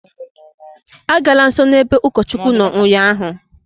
Agala nsọ n'ebe ụkọchukwu nọ ụnyaahụ!